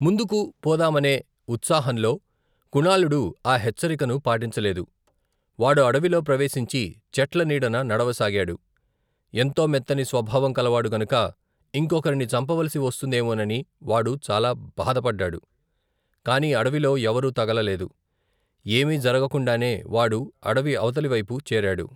ముందుకు పోదామనే ఉత్సాహంలో కుణాళుడు ఆ హెచ్చరికను పాటించలేదు. వాడు అడవిలో ప్రవేశించి చెట్ల నీడన నడవ సాగాడు. ఎంతో మెత్తని స్వభావం కలవాడు గనుక ఇంకొకరిని చంపవలిసి వస్తుందేమోనని వాడు చాలాభాధపడ్డాడు. కాని అడవిలో ఎవరూ తగలలేదు. ఏమీ జరగకుండానే వాడు అడవి అవతలివైపు చేరాడు.